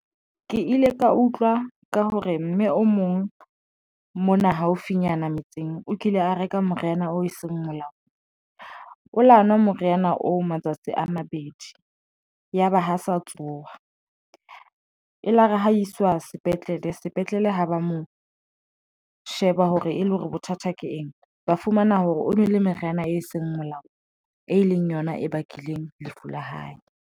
Ke ile ka utlwa ka hore mme o mong mona haufinyana metseng, o kile a reka moriana o seng molao o lo nwa moriana oo matsatsi a mabedi yaba ha sa tsowa elare ha iswa sepetlele, sepetlele ha ba mo sheba hore e le hore bothata ke eng ba fumana hore o nwele meriana e seng molaong e leng yona e bakileng lefu la hae.